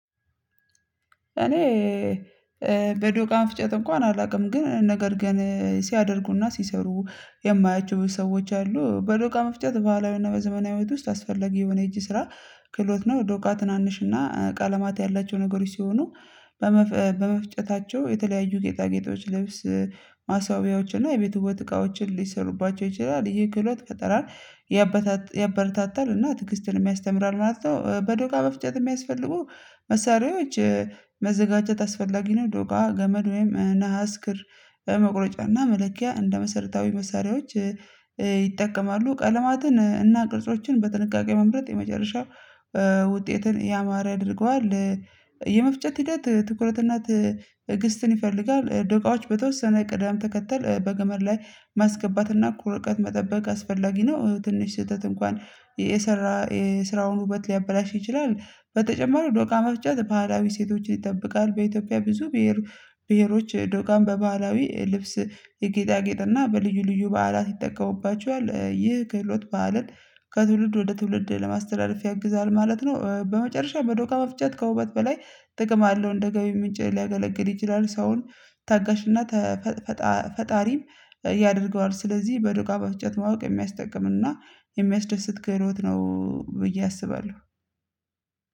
እኔ በዶቃ መፍጨት እንኳን አላውቅም ግን ነገር ግን ሲያደርጉና ሲሰሩ የማያቸው ሰዎች አሉ በዶቃ መፍጨት ባህላዊና በዘመናዊ ውስጥ አስፈለጊ የሆነ እጅ ስራ ክህሎት ነው። ዶቃ ትናንሽና ቀለማት ያላቸው ነገሮች ሲሆኑ በመፍጨታቸው የተለያዩ ጌጣጌጦች ልብስ ማሰዋብያዎችን እና የቤት ውበት እቃዎችን ሊሰሩባቸው ይችላል። ይሄ ክህለት ፈጠራን ያበታታ ያበረታታል እና ትግስትን የሚያስተምራል ማለት ነው። በዶቃ መፍጨት የሚያስፈልጉ መሳሪያዎች መዘጋጀት አስፈላጊ ነው። ዶቃ ገመድ ወይም ነሃስ ክር በመቁረጫና መለኪያ እንደ መሰረታዊ መሳሪያዎች ይጠቀማሉ ቀለማትን እና ቅርጾችን በጥንቃቄ መምረጥ የመጨረሻ ውጤትን ያማረ ያደርገዋል። የመፍጨት ሂደት ትኩረትና ትዕግስትን ይፈልጋል ደቂቃዎች በተወሰነ ቅዳም ተከተል በገመድ ላይ ማስገባትና ቁርቀት መጠበቅ አስፈላጊ ነው። ትንሽ ስህተት እንኳን የሰራ የስራውን ውበት ሊያበላሽ ይችላል። በተጨማሪው ዶቃ ፍጨት ባህላዊ ሴቶችን ይጠብቃል በኢትዮጵያ ብዙ ብሄር ብሄሮች ዶቃን በባህላዊ ልብስ የጌጣጌጥና በልዩ ልዩ በዓላት ይጠቀሙባቸዋል። ይህ ክህሎት በዓልን ከትውልድ ወደ ትውልድ ለማስተዳደፍ ያግዛል ማለት ነው። በመጨረሻ በዶቃ መፍጨት ከውበት በላይ ጥቅም አለው እንደ ገቢ ምንጭ ሊያገለግል ይችላል ሰውን ታጋሽና ተፈ ፈጣ ተፈፈጣሪም ያደርገዋል። ስለዚህ በድጋ በፍጨት ማወቅ የሚያስጠቅምና የሚያስደስት ክህሎት ነው። ብዬ አስባለሁ።